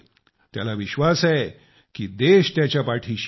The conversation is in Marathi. त्याला विश्वास आहे की देश त्याच्या पाठीशी आहे